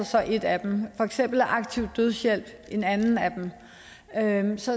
så et af dem for eksempel er aktiv dødshjælp et andet af dem så